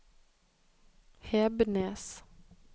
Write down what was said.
Hebnes